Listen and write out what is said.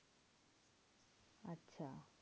আচ্ছা